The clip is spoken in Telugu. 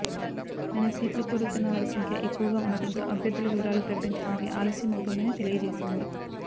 కానీ సీట్లు కోరుతున్న వారి సంఖ్య ఎక్కువగా ఉండడంతో అభ్యర్థుల వివరాలు ప్రకటించడానికి ఆలస్యం అవుతుందని తెలియజేసింది